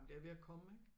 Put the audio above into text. Men det er ved at komme ikke